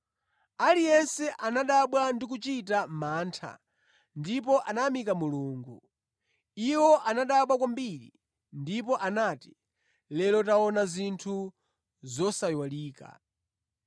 Aliyense anadabwa ndi kuchita mantha ndipo anayamika Mulungu. Iwo anadabwa kwambiri ndipo anati, “Lero taona zinthu zosayiwalika.”